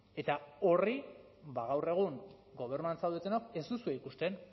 eta horri gaur egun gobernuan zaudetenok ez duzue ikusten